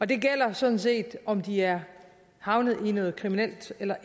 det gælder sådan set om de er havnet i noget kriminelt eller